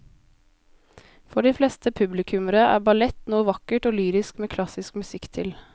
For de fleste publikummere er ballett noe vakkert og lyrisk med klassisk musikk til.